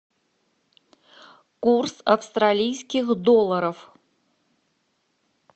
курс австралийских долларов